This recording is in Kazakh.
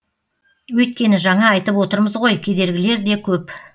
өйткені жаңа айтып отырмыз ғой кедергілер де көп